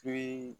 To